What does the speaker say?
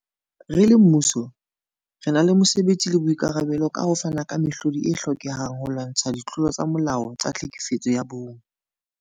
Re le mmuso, re na le mose betsi le boikarabelo ba ho fana ka mehlodi e hlokehang holwantshwa ditlolo tsa molao tsa tlhekefetso ya bong.